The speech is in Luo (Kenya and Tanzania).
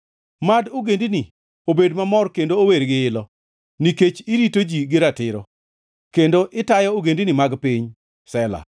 Mad ogendini obed mamor kendo ower gi ilo, nikech irito ji gi ratiro, kendo itayo ogendini mag piny. Sela